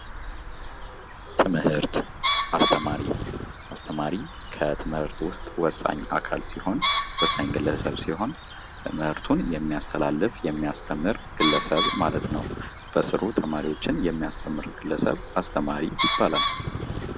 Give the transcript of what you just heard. ትምህርት አስተማሪ ከትምህርት ውስጥ ወሳኝ አካል ሲሆን ትምህርቱን የሚያስተላልፍ የሚያስተምር ግለሰብ ማለት ነው በስሩ ተማሪዎችን የሚያስተምር ግለሰብ አስተማሪ ይባላል።